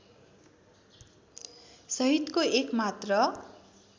सहितको एक मात्र